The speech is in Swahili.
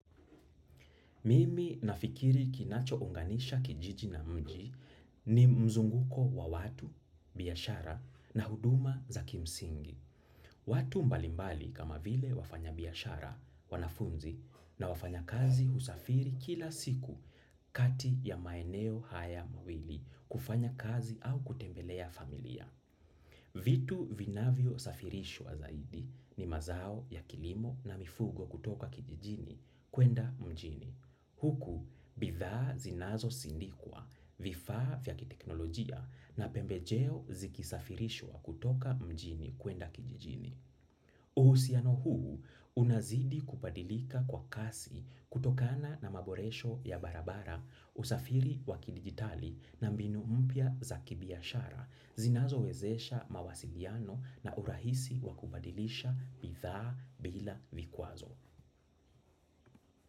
Mimi nafikiri kinachounganisha kijiji na mji ni mzunguko wa watu, biashara na huduma za kimsingi. Watu mbalimbali kama vile wafanya biashara wanafunzi na wafanya kazi husafiri kila siku kati ya maeneo haya mawili kufanya kazi au kutembelea familia. Vitu vinavyo safirishwa zaidi ni mazao ya kilimo na mifugo kutoka kijijini kwenda mjini. Huku, bidhaa zinazo sindikwa, vifaa vya kiteknolojia na pembejeo zikisafirishwa kutoka mjini kuenda kijijini. Uhusiano huu, unazidi kubadilika kwa kasi kutokana na maboresho ya barabara, usafiri wa kidigitali na mbinu mpya za kibiashara, zinazo wezesha mawasiliano na urahisi wa kubadilisha bidhaa bila vikwazo.